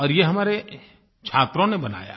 और ये हमारे छात्रों ने बनाया